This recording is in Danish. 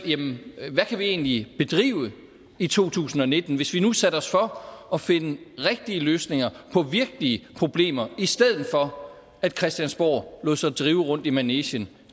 hvad kan vi egentlig bedrive i to tusind og nitten hvis vi nu satte os for at finde rigtige løsninger på virkelige problemer i stedet for at christiansborg lader sig drive rundt i manegen